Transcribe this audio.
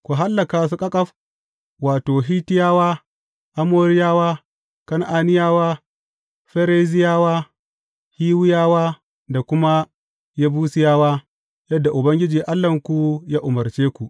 Ku hallaka su ƙaƙaf, wato, Hittiyawa, Amoriyawa, Kan’aniyawa, Ferizziyawa, Hiwiyawa da kuma Yebusiyawa, yadda Ubangiji Allahnku ya umarce ku.